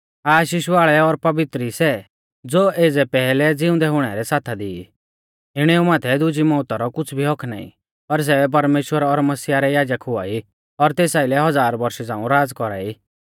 आशीष वाल़ै और पवित्र ई सै ज़ो एज़ै पैहलै ज़िउंदै हुणै रै साथा दी ई इणेऊ माथै दुजी मौउता रौ कुछ़ भी हक्क नाईं पर सै परमेश्‍वर और मसीहा रै याजक हुआई और तेस आइलै हज़ार बौरशा रौ राज़ कौरा ई